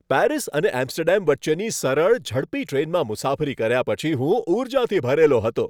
Paris અને Amsterdam વચ્ચેની સરળ, ઝડપી ટ્રેનમાં મુસાફરી કર્યા પછી હું ઊર્જાથી ભરેલો હતો.